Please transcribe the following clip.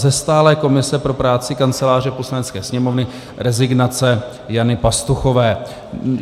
Ze stálé komise pro práci Kanceláře Poslanecké sněmovny rezignace Jany Pastuchové.